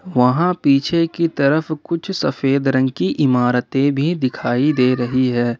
वहां पीछे की तरफ कुछ सफेद रंग की इमारतें भी दिखाई दे रही है।